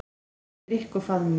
Eftir drykk og faðmlög.